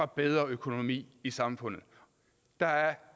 bedre økonomi i samfundet der er